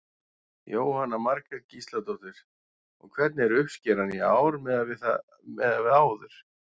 Jóhanna Margrét Gísladóttir: Og hvernig er uppskeran í ár miðað við áður?